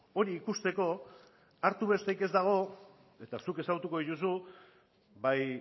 hori ikusteko hartu besterik ez dago eta zuk ezagutuko dituzu bai